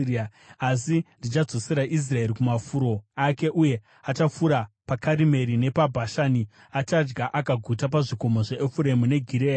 Asi ndichadzosera Israeri kumafuro ake, uye achafura paKarimeri nepaBhashani; achadya akaguta pazvikomo zveEfuremu neGireadhi.